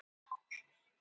Þetta gerist í myrkri.